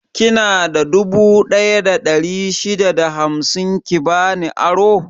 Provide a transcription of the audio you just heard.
Kina da dubu ɗaya da ɗari shida da hamsin ki bani aro?